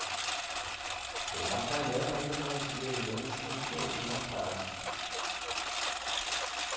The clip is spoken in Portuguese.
Estou batalhando ainda para sobreviver nesse mundo aí que não é fácil.